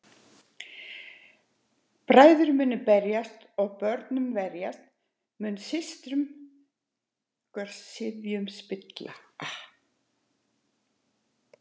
Bræður munu berjast og að bönum verðast, munu systrungar sifjum spilla.